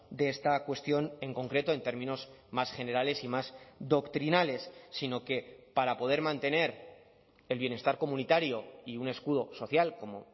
de esta cuestión en concreto en términos más generales y más doctrinales sino que para poder mantener el bienestar comunitario y un escudo social como